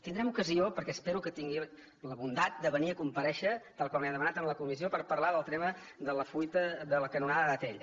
tindrem ocasió perquè espero que tingui la bondat de venir a comparèixer tal com li hem demanat en la comissió de parlar del tema de la fuita de la canonada d’atll